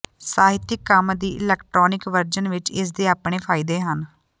ਸਾਹਿਤਕ ਕੰਮ ਦੀ ਇਲੈਕਟ੍ਰਾਨਿਕ ਵਰਜਨ ਵਿੱਚ ਇਸ ਦੇ ਆਪਣੇ ਫਾਇਦੇ ਹਨ